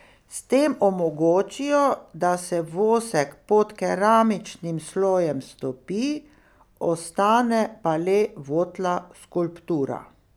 S tem omogočijo, da se vosek pod keramičnim slojem stopi, ostane pa le votla skulptura.